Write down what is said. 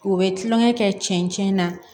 U bɛ tulonkɛ kɛ cɛncɛn na